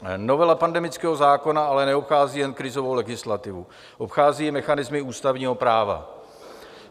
Novela pandemického zákona ale neobchází jen krizovou legislativu, obchází i mechanismy ústavního práva.